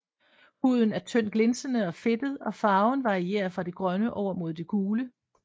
Huden er tynd glinsende og fedtet og farven varierer fra det grønne over mod det gule